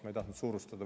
Ma ei tahtnud suurustada.